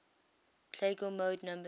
plagal mode numbers